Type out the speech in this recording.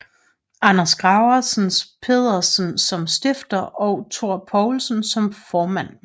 Anders Gravers Pedersen som stifter og Thor Poulsen som formand